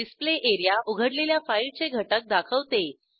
display area उघडलेल्या फाईलचे घटक दाखवते